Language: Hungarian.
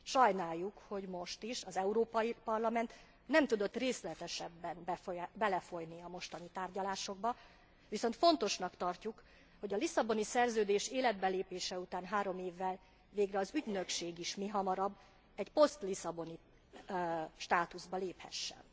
Sajnáljuk, hogy most is, az Európai Parlament nem tudott részletesebben belefolyni a mostani tárgyalásokba, viszont fontosnak tartjuk, hogy a Lisszaboni Szerződés életbelépése után három évvel, végre az ügynökség is mihamarabb egy posztlisszaboni státuszba léphessen.